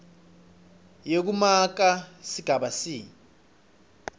yekumaka sigaba c